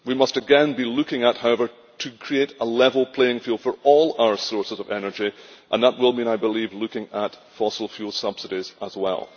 We must again, however, be looking at how to create a level playing field for all our sources of energy, and that will mean, I believe, looking at fossil fuel subsidies as well.